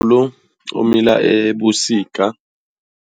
umila ebusika.